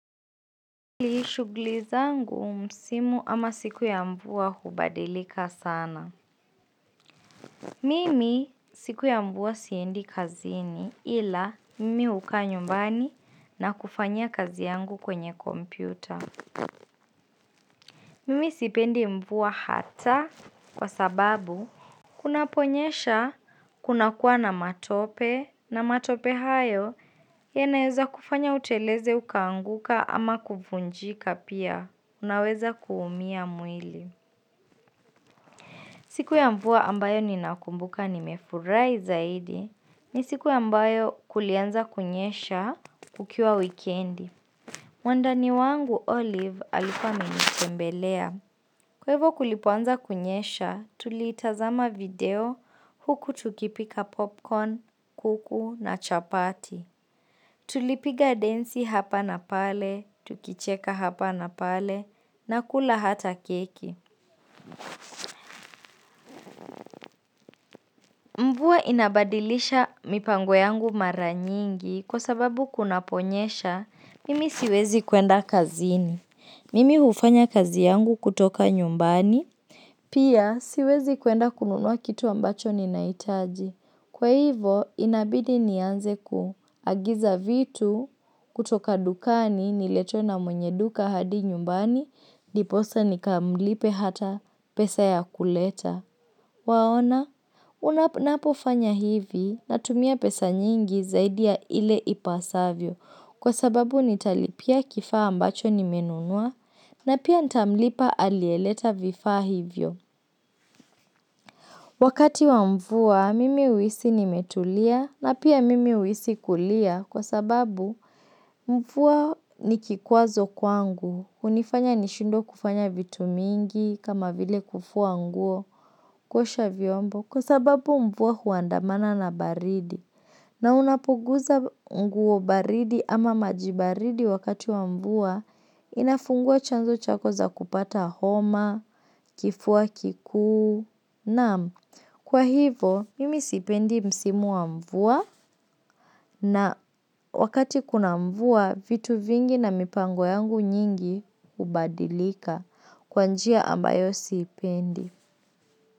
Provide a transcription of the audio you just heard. Mimi shughuli zangu msimu ama siku ya mvua hubadilika sana. Mimi siku ya mvua siendi kazini ila mimi hukaa nyumbani na kufanya kazi yangu kwenye kompyuta. Mimi sipendi mvua hata kwa sababu kunaponyesha kunakuwa na matope na matope hayo yanaeza kufanya uteleze ukaanguka ama kuvunjika pia. Unaweza kuumia mwili. Siku ya mvua ambayo ninakumbuka nimefurahi zaidi ni siku ambayo kulianza kunyesha kukiwa wikendi. Mwandani wangu, Olive alikua amenitembelea. Kwa hivo kulipoanza kunyesha, tulitazama video huku tukipika popcorn, kuku na chapati. Tulipiga densi hapa na pale, tukicheka hapa na pale na kula hata keki. Mvua inabadilisha mipango yangu mara nyingi kwa sababu kunaponyesha, mimi siwezi kwenda kazini. Mimi hufanya kazi yangu kutoka nyumbani, pia siwezi kwenda kununua kitu ambacho ninahitaji. Kwa hivo, inabidi nianze kuagiza vitu kutoka dukani niletewe na mwenye duka hadi nyumbani, ndiposa nikamlipe hata pesa ya kuleta. Waona, ninapofanya hivi natumia pesa nyingi zaidi ya ile ipasavyo kwa sababu nitalipia kifaa ambacho nimenunua na pia ntamlipa aliyeleta vifaa hivyo. Wakati wa mvua, mimi huhisi nimetulia na pia mimi huhisi kulia kwa sababu mvua ni kikwazo kwangu, hunifanya nishindwe kufanya vitu mingi kama vile kufua nguo kuosha vyombo kwa sababu mvua huandamana na baridi. Na unapoguza nguo baridi ama maji baridi wakati wa mvua, inafungua chanzo chako za kupata homa, kifua kikuu, naam kwa hivo mimi sipendi msimu wa mvua na wakati kuna mvua vitu vingi na mipango yangu nyingi hubadilika kwa njia ambayo siipendi.